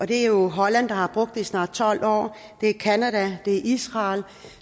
det er holland der har brugt det i snart tolv år det er canada det er israel